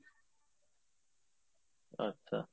আচ্ছা